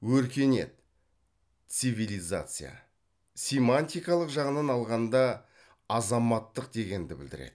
өркениет цивилизация семантикалық жағынан алғанда азаматтық дегенді білдіреді